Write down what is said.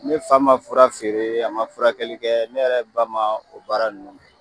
Ne fa man fura feere a man furakɛli kɛ ne yɛrɛ ba man o baara ninnu kɛ.